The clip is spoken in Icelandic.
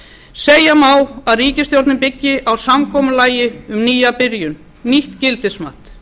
segja má að ríkisstjórnin byggi á samkomulagi um nýja byrjun nýtt gildismat